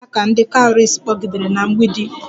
Ekwela ka ndị cowries kpọgidere na mgbidi!